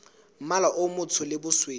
mmala o motsho le bosweu